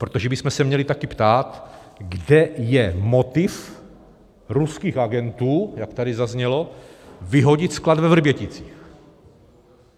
Protože bychom se měli taky ptát, kde je motiv ruských agentů, jak tady zaznělo, vyhodit sklad ve Vrběticích.